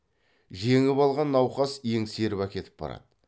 жеңіп алған науқас еңсеріп әкетіп барады